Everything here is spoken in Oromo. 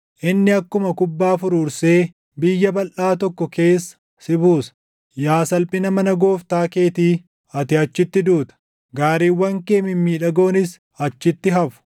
Inni akkuma kubbaa furuursee biyya balʼaa tokko keessa si buusa. Yaa salphina mana gooftaa keetii, ati achitti duuta; gaariiwwan kee mimmiidhagoonis achitti hafu!